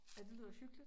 Ej det lyder hyggeligt